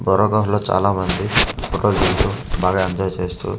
పోరగాండ్లు చాలామంది ఒక వీధిలో బాగా ఎంజాయ్ చేస్తూ--